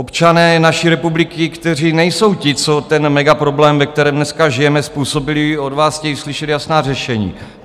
Občané naší republiky, kteří nejsou ti, co ten megaproblém, ve kterém dneska žijeme, způsobili, od vás chtějí slyšet jasná řešení.